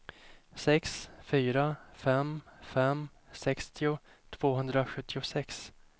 sex fyra fem fem sextio tvåhundrasjuttiosex